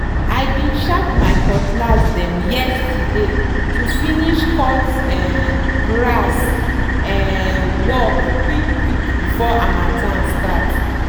i bin sharp my cutlass dem yeaterday to finish cut um grass um work quick quick before harmattan start.